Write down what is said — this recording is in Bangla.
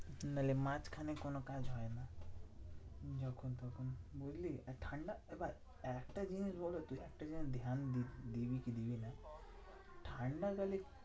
নাহলে মাঝখানে কোনো কাজ হয় না। যখন তখন বুঝলি? আর ঠান্ডা এবার একটা যিনি বলতো একটা জিনিস ধ্যান দিবি দিবি কি দিবি না? ঠান্ডাকালে